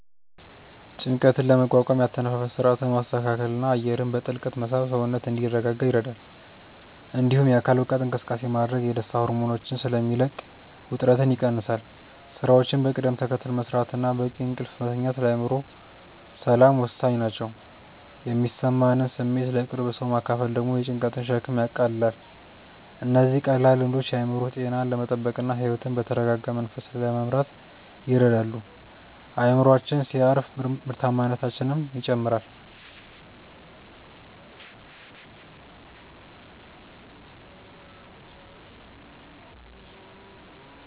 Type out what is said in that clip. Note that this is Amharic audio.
ጭንቀትን ለመቋቋም የአተነፋፈስ ሥርዓትን ማስተካከልና አየርን በጥልቀት መሳብ ሰውነት እንዲረጋጋ ይረዳል። እንዲሁም የአካል ብቃት እንቅስቃሴ ማድረግ የደስታ ሆርሞኖችን ስለሚለቅ ውጥረትን ይቀንሳል። ሥራዎችን በቅደም ተከተል መሥራትና በቂ እንቅልፍ መተኛት ለአእምሮ ሰላም ወሳኝ ናቸው። የሚሰማንን ስሜት ለቅርብ ሰው ማካፈል ደግሞ የጭንቀትን ሸክም ያቃልላል። እነዚህ ቀላል ልምዶች የአእምሮ ጤናን ለመጠበቅና ሕይወትን በተረጋጋ መንፈስ ለመምራት ይረዳሉ። አእምሮአችን ሲያርፍ ምርታማነታችንም ይጨምራል።